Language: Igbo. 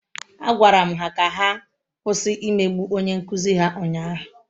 Agwara m ha ka ha kwụsị imegbu onye nkụzi ha ụnyahụ.